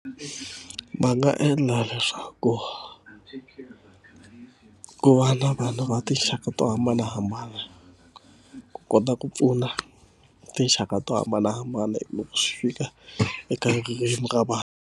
Va nga endla leswaku ku va na vanhu va tinxaka to hambanahambana ku kota ku pfuna tinxaka to hambanahambana loko swi fika eka ririmi ra vanhu.